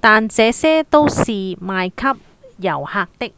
但這些都是賣給遊客的